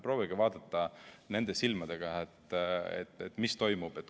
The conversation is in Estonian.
Proovige vaadata nende silmadega, mis toimub.